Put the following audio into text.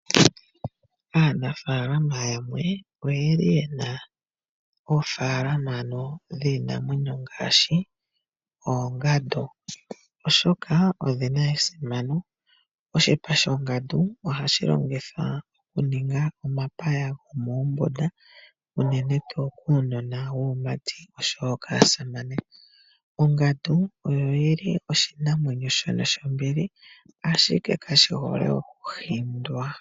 Aanafalama yamwe oyeli yena oofalama ano dhiinamwenyo ngaashi oongandu, oshoka odhina esimano. Oshipa shongandu ohashi longithwa okuninga omapaya gomoombunda, unene tuu kuunona wuumati oshowo kaasamane. Ongandu oyo yili oshinamwenyo shono shombili ashike kashi hole okuhindwa.